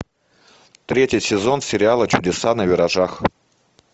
третий сезон сериала чудеса на виражах